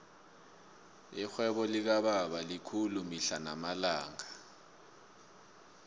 irhwebo likababa likhulu mihla namalanga